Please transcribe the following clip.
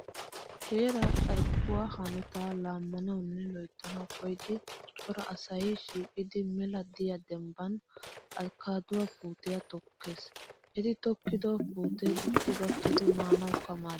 Heeraa carkkuwaa hanotaa laammanawunne loyittanawu koyidi cora asayi shiiqidi mela diyaa dembban askkaaduwaa puutiyaa tokkes. Eti tokkido puutee dicci gakkidi maanawukka maaddes.